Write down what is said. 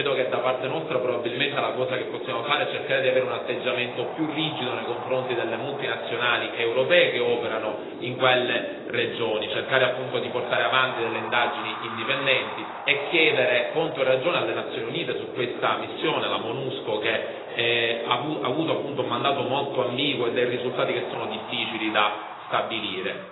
Credo che, da parte nostra, probabilmente la cosa che possiamo fare è cercare di avere un atteggiamento più rigido nei confronti delle multinazionali europee che operano in quelle regioni, cercare appunto di portare avanti delle indagini indipendenti e chiedere conto e ragione alle Nazioni Unite su questa missione la MONUSCO che ha avuto appunto un mandato molto ambiguo e dei risultati che sono difficili da stabilire.